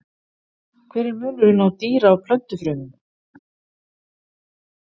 Hver er munurinn á dýra- og plöntufrumum?